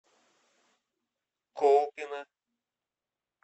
колпино